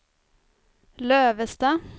Lövestad